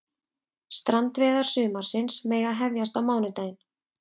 Strandveiðar sumarsins mega hefjast á mánudaginn